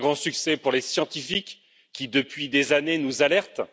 C'est un grand succès pour les scientifiques qui, depuis des années, nous alertent.